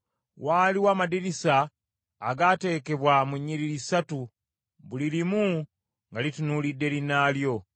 Waaliwo amadirisa agaateekebwa mu nnyiriri ssatu, buli limu nga litunuulidde linnaalyo.